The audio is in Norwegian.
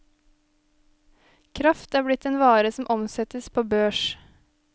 Kraft er blitt en vare som omsettes på børs.